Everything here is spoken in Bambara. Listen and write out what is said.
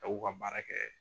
K'u ka baara kɛ.